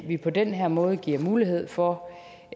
vi på den her måde giver mulighed for